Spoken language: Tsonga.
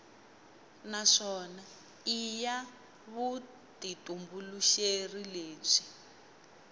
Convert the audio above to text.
naswona i ya vutitumbuluxeri lebyi